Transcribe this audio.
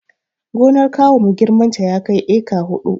Gonar kawunmu girmanta ya kai eka huɗu